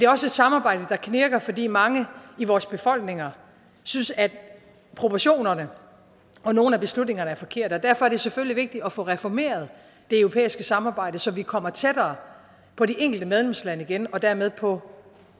også et samarbejde der knirker fordi mange i vores befolkninger synes at proportionerne og nogle af beslutningerne er forkerte og derfor er det selvfølgelig vigtigt at få reformeret det europæiske samarbejde så vi kommer tættere på de enkelte medlemslande igen og dermed på